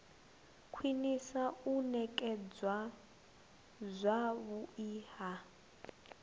khwinisa u nekedzwa zwavhui ha